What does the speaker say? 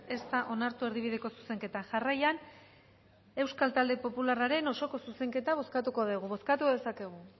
ez da onartu erdibideko zuzenketa jarraian euskal talde popularraren osoko zuzenketa bozkatuko dugu bozkatu dezakegu